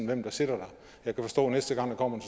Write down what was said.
hvem der sidder der jeg kan forstå at næste gang der kommer